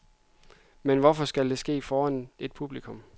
Men hvorfor skal det ske foran et publikum?